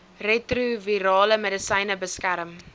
retrovirale medisyne beskerm